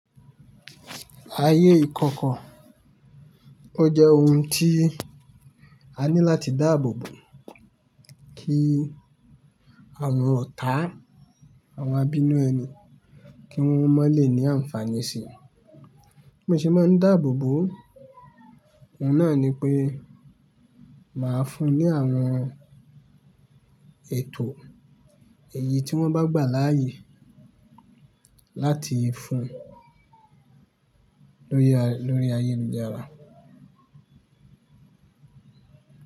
Ayé ìkọ̀kọ̀, ó jẹ́ ohun tí a ní láti dáàbò bo kí àwọn ọ̀tá àwọn abínú ẹni kí wọ́n má lè ní àǹfààní sí i. Bí mo ṣe máa ń dáàbò bo, òun náà ni pé màá fún ní àwọn ètò èyí tí wọ́n bá gbà láàyè láti fún lóri, lóri ayélujára.